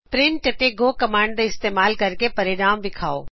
print ਅਤੇ go command ਦਾ ਇਸਤਮਾਲ ਕਰ ਕੇ ਇਸ ਦਾ ਪਰਿਣਾਮ ਵਿਖਾਓ